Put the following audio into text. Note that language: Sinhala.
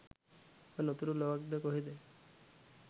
'ඔබ නොදුටු ලොවක්' ද කොහෙද